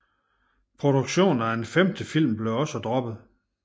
Produktionen af en femte film blev også droppet